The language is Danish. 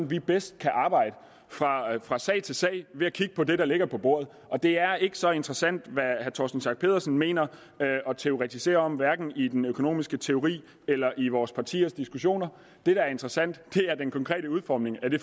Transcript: vi bedst kan arbejde fra sag til sag ved at kigge på det der ligger på bordet og det er ikke så interessant hvad herre torsten schack pedersen mener og teoretiserer om hverken i den økonomiske teori eller i vores partiers diskussioner det der er interessant er den konkrete udformning af det